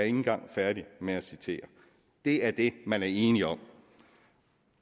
ikke engang færdig med at citere det er det man er enig om